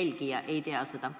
ei tea.